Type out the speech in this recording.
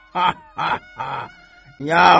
Nə ağlayır?